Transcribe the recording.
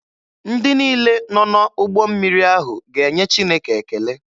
Ndị niile nọ n'ụgbọ mmiri ahụ ga-enye Chineke ekele.